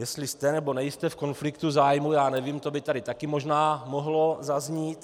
Jestli jste, nebo nejste v konfliktu zájmů, já nevím, to by taky také možná mohlo zaznít.